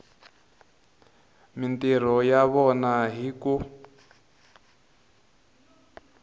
mintirho ya vona hi ku